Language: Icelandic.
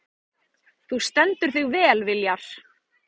Þú stendur þig vel, Viljar!